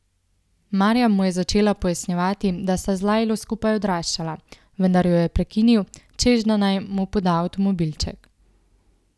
Marjam mu je že začela pojasnjevati, da sta z Lajlo skupaj odraščala, vendar jo je prekinil, češ da naj mu poda avtomobilček.